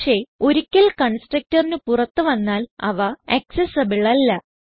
പക്ഷേ ഒരിക്കൽ constructorന് പുറത്ത് വന്നാൽ അവ ആക്സസിബിൾ അല്ല